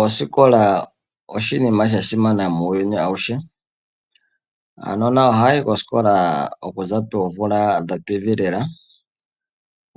Osikola oshinima sha simana muuyuni awuhe. Aanona ohaya yi koosikola okuza poomvula dho pevi lela,